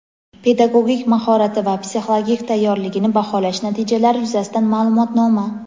pedagogik mahorati va psixologik tayyorgarligini baholash natijalari yuzasidan ma’lumotnoma.